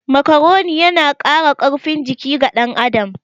Makaroni yana Kara karfin jiki ga ɗan adam